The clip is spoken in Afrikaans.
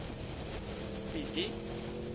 pieti